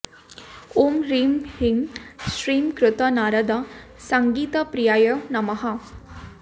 ॐ ह्रैं ह्रीं श्रीं कृत नारद सङ्गीतप्रियायै नमः